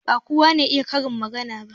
Ba kowa ne ya iya karin magana ba.